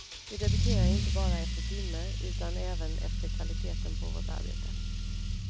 Vi debiterar inte bara efter timme utan även efter kvaliteten på vårt arbete.